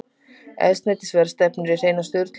Eldsneytisverð stefnir í hreina sturlun